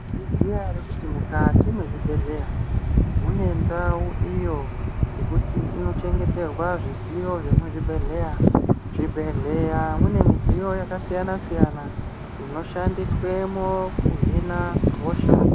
Munozviziya ere kuti mukati mwezvibhedhleya, mune ndau iyo yekuti inochengeterwa zvidziyo zvemuzvibhedhleya. Zvibhedhleya, mune midziyo yakasiyana-siyana inoshandiswemo kuhina hosha.